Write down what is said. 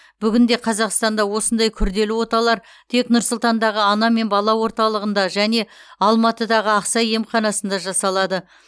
бүгінде қазақстанда осындай күрделі оталар тек нұр сұлтандағы ана мен бала орталығында және алматыдағы ақсай емханасында жасалады